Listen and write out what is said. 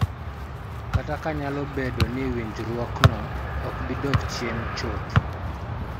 Kata ka nyalo bedo ni winjruokno ok bi dok chien chuth.